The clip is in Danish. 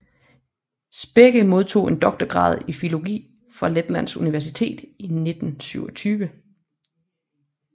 Spekke modtog en doktorgrad i filologi fra Letlands Universitet i 1927